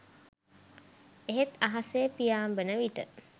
එහෙත් අහසේ පියාඹන විට